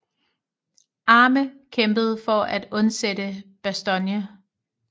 Arme kæmpede for at undsætte Bastogne